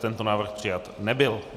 Tento návrh přijat nebyl.